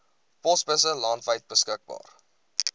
posbusse landwyd beskikbaar